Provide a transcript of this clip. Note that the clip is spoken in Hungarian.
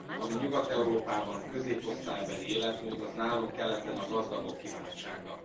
Ami Nyugat Európában középosztálybeli életmód, az nálunk keleten a gazdagok kiváltsága.